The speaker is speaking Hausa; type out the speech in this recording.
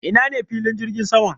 Ina ne filin jirgin sama?